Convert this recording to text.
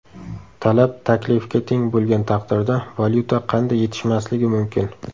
Talab taklifga teng bo‘lgan taqdirda, valyuta qanday yetishmasligi mumkin?